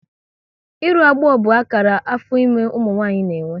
Ịrụ agbọ bụ akara afọ ime ụmụ nwaanyị na-enwe